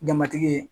Jamatigi ye